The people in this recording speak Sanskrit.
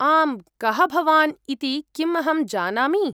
आम्, कः भवान् इति किम् अहं जानामि?